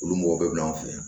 Olu mɔgɔ bɛɛ bɛ n'an fɛ yen